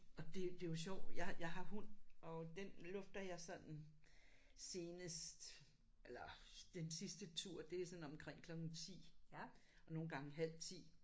Og det det er jo sjovt jeg jeg har hund og den lufter jeg sådan senest eller den sidste tur det er sådan omkring klokken 10 og nogle gange halv 10